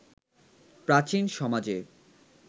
প্রাচীন সমাজে